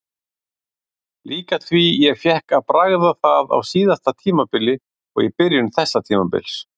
Líka því ég fékk að bragða það á síðasta tímabili og í byrjun þessa tímabils.